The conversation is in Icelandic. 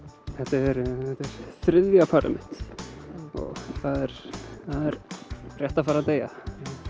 þetta er þriðja parið mitt og það er rétt að fara að deyja